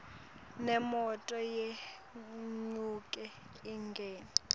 nemoto yenyuke ingene